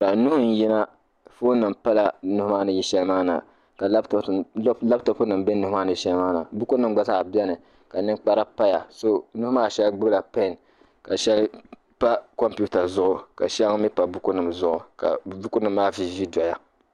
nuhi n-yina foonnima pala nuhi maa ni yi shɛli maa na ka lapitɔpunima be nuhi maa ni yi shɛli maa na bukunima gba zaa beni ka ninkpara paya nuhi maa shɛli gbubila pɛn ka shɛli pa kɔmputa zuɣu ka shɛŋa mi pa bukunima zuɣu ka bukunima maa viivii dɔya